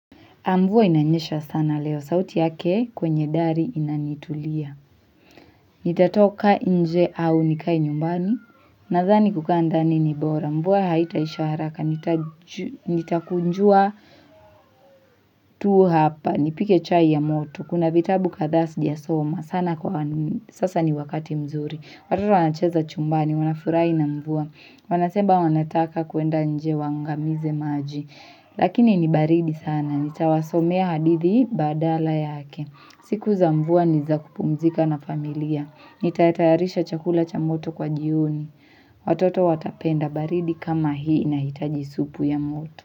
Na mvua inanyesha sana leo, sauti yake kwenye dari inanitulia. Nitatoka nje au nikae nyumbani, nadhani kukaa ndani ni bora. Mvua haita isha haraka, nitakunjua tuu hapa, nipike chai ya moto. Kuna vitabu kadhaa sijasoma, sana kwa sasa ni wakati mzuri. Watoto wanacheza chumbani, wanafurahi na mvua, wanaseba wanataka kuenda nje waangamize maji. Lakini ni baridi sana. Nitawasomea hadithi badala yake. Siku za mvua ni za kupumzika na familia. Nitayatayarisha chakula cha moto kwa jioni. Watoto watapenda baridi kama hii nahitaji supu ya moto.